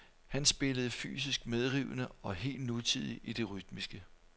Han spillede fysisk medrivende og helt nutidigt i det rytmiske.